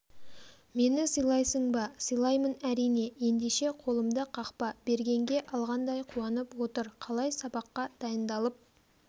мені сыйлайсың ба сыйлаймын әрине ендеше қолымды қақпа бергенге алғандай қуанып отыр қалай сабаққа дайындалып